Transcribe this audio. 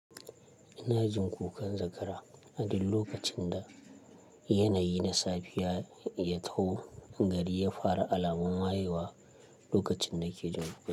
Ina jin kukan zakara a duk lokacin da yanayi na safiya ya taho. Gari ya fara alamun wayewa lokacin na ke jin kukan.